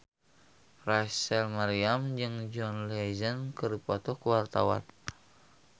Rachel Maryam jeung John Legend keur dipoto ku wartawan